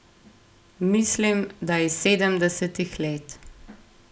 Mislim, da iz sedemdesetih let.